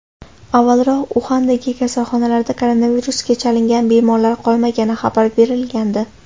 Avvalroq Uxandagi kasalxonalarda koronavirusga chalingan bemorlar qolmagani xabar berilgandi .